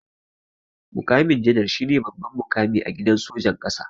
Muƙamin janar shine babban muƙami a gidan sojan ƙasa.